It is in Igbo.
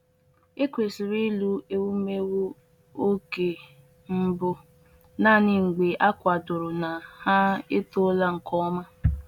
Ekwesịrị ịlụ ewumewụ oge mbụ naanị mgbe a kwadoro na ha etoola nke ọma.